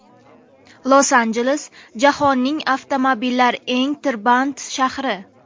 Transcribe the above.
Los-Anjeles jahonning avtomobillar eng tirband shahri.